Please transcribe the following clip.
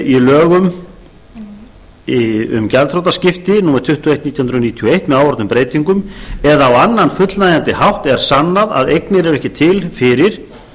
í lögum um gjaldþrotaskipti og fleira númer tuttugu og eitt nítján hundruð níutíu og eitt með áorðnum breytingum eða á annan fullnægjandi hátt er sannað að eignir eru ekki til fyrir